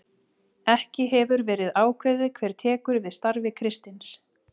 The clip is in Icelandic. Ekki hefur verið ákveðið hver tekur við starfi Kristins.